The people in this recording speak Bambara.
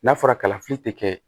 N'a fɔra kalafili te kɛ